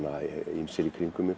ýmsir í kringum mig